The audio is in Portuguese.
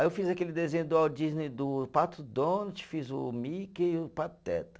Aí eu fiz aquele desenho do Walt Disney do Pato Donald, fiz o Mickey e o Pateta.